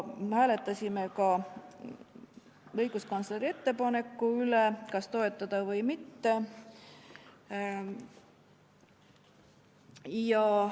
Me hääletasime ka selle üle, kas õiguskantsleri ettepanekut toetada või mitte.